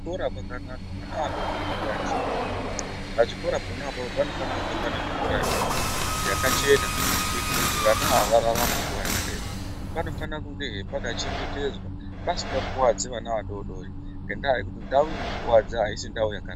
Kora kwakanaka vaba vadodori ngavaendeswe kuchikora pachikora apapo panofanire kunge pane mvura yekumwa yakachena kuitire kuti vana ava vararame nguwa yakareba panofana he kunge pakachengetedzwa pasingakuwadzi vana vadodori ngendaa yekuti ndau Inokuwadza aisi ndau yaka.